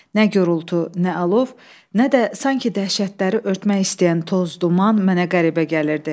Nə gurultu, nə alov, nə də sanki dəhşətləri örtmək istəyən toz-duman mənə qəribə gəlirdi.